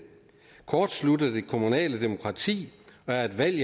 kortslutter det kommunale demokrati og er et valg